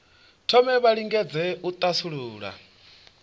thome vha lingedze u thasulula